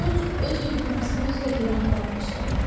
George öz uydurmasına özü də heyran qalmışdı.